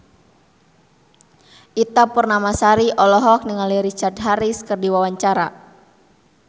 Ita Purnamasari olohok ningali Richard Harris keur diwawancara